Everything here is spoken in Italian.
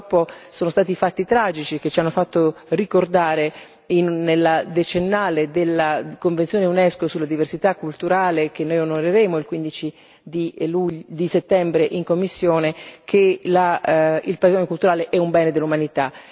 Purtroppo, sono stati i fatti tragici che ci hanno fatto ricordare nel decennale della convenzione Unesco sulla diversità culturale, che noi onoreremo il 15 settembre in commissione, che il patrimonio culturale è un bene dell'umanità.